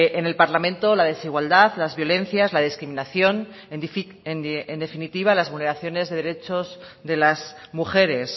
en el parlamento la desigualdad las violencias la discriminación en definitiva las vulneraciones de derechos de las mujeres